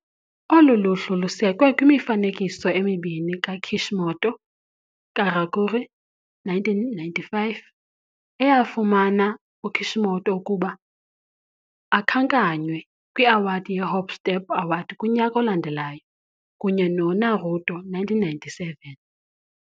Olu luhlu lusekwe kwimifanekiso emibini kaKishimoto - Karakuri, 1995, eyafumana uKishimoto ukuba akhankanywe kwi-Award ye-Hop Step Award kunyaka olandelayo, kunye no-Naruto, 1997.